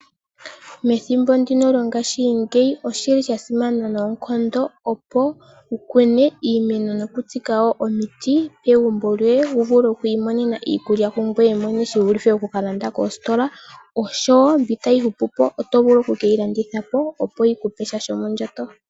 Methimbo ndino lyongashingeyi oshili sha simana noonkondo opo wukune iimeno nokutsika wo omiti pegumbo lyoye wuvule okwiimonena iikulya kungoye mwene shivulithe oku kalanda kosikola, osho wo mbyoka tayi hupupo oto vulu okuyi landithapo yikupe sha shomondjato.